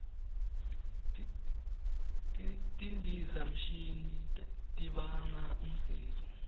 tindizamshini tibanga umsindvo